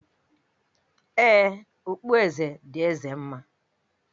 Ee, okpueze dị Eze mma